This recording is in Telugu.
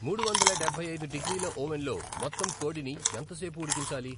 మూడు వందల డెబ్బై ఐదు డిగ్రీల ఓవెన్లో మొత్తం కోడిని ఎంతసేపు ఉడికించాలి